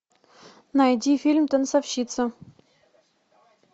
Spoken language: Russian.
найди фильм танцовщица